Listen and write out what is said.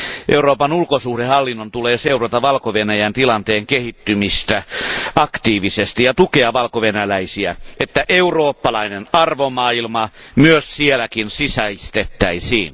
Euroopan ulkosuhdehallinnon tulee seurata Valko Venäjän tilanteen kehittymistä aktiivisesti ja tukea valkovenäläisiä niin, että eurooppalainen arvomaailma myös siellä sisäistettäisiin.